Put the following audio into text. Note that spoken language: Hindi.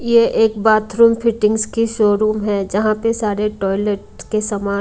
यह एक बाथरूम फिटिंग्स की शोरूम है जहां पे सारे टॉयलेट के सामान--